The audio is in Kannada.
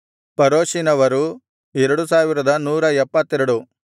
ಪರೋಷಿನವರು 2172